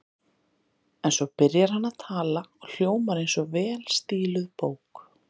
En svo byrjar hann að tala og hljómar eins og vel stíluð bók.